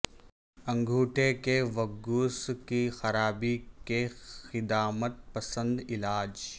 انگوٹھے کے وگگوس کی خرابی کے قدامت پسند علاج